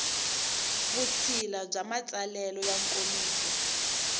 vutshila bya matsalelo ya nkomiso